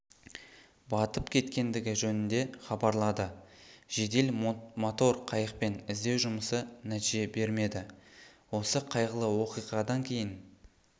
батып кеткендігі жөнінде хабарлады жедел мотор қайықпен іздеу жұмысы нәтиже бермеді осы қайғылы оқиғадан кейін